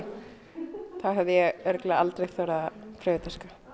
þá hefði ég ábyggilega aldrei þorað að prófa þetta